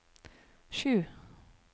sju